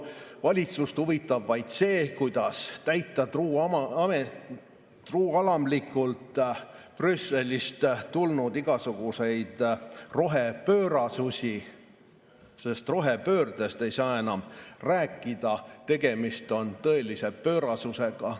Valitsust huvitab vaid see, kuidas täita truualamlikult Brüsselist tulnud igasuguseid rohepöörasusi, sest rohepöördest ei saa enam rääkida, tegemist on tõelise pöörasusega.